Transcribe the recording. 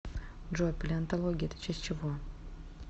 джой палеонтология это часть чего